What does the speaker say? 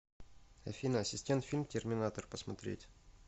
афина ассистент фильм терминатор посмотреть